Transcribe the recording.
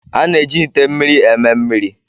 A na-eji ite mmiri eme mmiri.